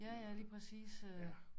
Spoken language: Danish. Ja ja lige præcis øh